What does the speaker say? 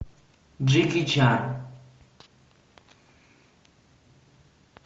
джеки чан